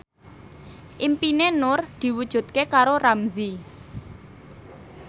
impine Nur diwujudke karo Ramzy